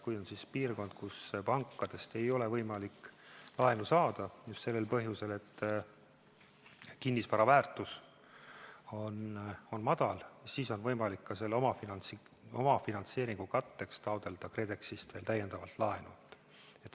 Kui on piirkond, kus pankadest ei ole võimalik laenu saada, just sellel põhjusel, et kinnisvara väärtus on madal, siis on võimalik omafinantseeringu katteks taotleda KredExist veel täiendavalt laenu.